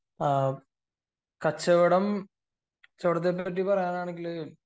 ആഹ് കച്ചവടം കച്ചവടത്തിനെ പറ്റി പറയുകയാണെങ്കിൽ